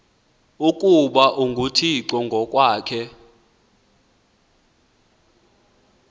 ukuba unguthixo ngokwakhe